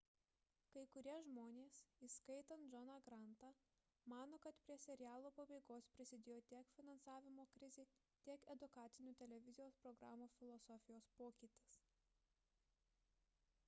kai kurie žmonės įskaitant johną grantą mano kad prie serialo pabaigos prisidėjo tiek finansavimo krizė tiek edukacinių televizijos programų filosofijos pokytis